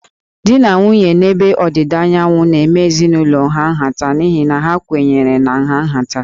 Di na nwunye a n'ebe Ọdịda Anyanwụ na-eme ezinụlọ ha nhata n'ihi na ha kwenyere na nha nhata